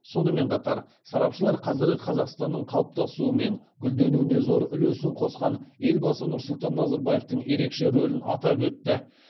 сонымен қатар сарапшылар қазіргі қазақстанның қалыптасуы мен гүлденуіне зор үлесін қосқан елбасы нұрсұлтан назарбаевтың ерекше рөлін атап өтті